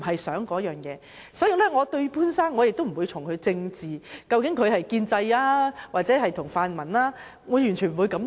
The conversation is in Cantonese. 所以，對於潘先生，我不會從政治上來想，究竟他是建制還是泛民，我完全不會這樣想。